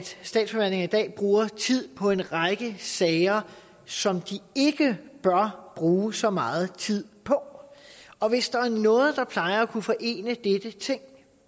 statsforvaltningen i dag bruger tid på en række sager som de ikke bør bruge så meget tid på og hvis der er noget der plejer at kunne forene dette ting